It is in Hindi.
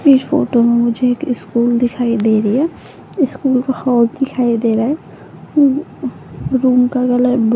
इस फोटो में मुझे एक स्कूल दिखाई दे रही है स्कूल हॉल दिखाई दे रहा है रूम का कलर --